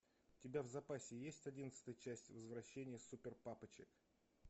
у тебя в запасе есть одиннадцатая часть возвращение супер папочек